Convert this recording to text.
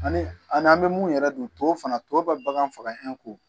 Ani an n'an bɛ mun yɛrɛ don tɔw fana tɔ bɛ bagan faga